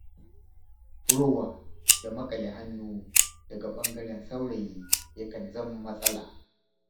Rowa da maƙale hannu daga ɓangaren saurayi ya kan zama matsala.